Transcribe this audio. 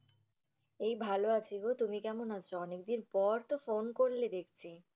এই ভালো আছি গো, তুমি কেমন আছো? অনেক দিন পর তো phone করলে দেখছি ।